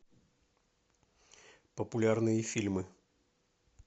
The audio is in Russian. популярные фильмы